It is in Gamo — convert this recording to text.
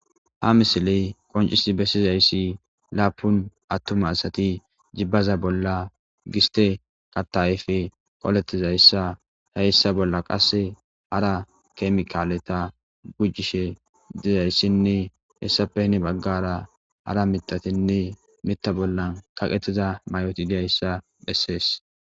Hamisiley qoncisi bessizayssi laapun attuma asati jibbaza bolla giste qattaayfe qoletizayssa heyssa bolla qasse hara kemikaaleta gujjishe dizayssinne hessapehini baggara hara mitatinne mitta bollan kaqetiza may'oti diyayssa dhessees.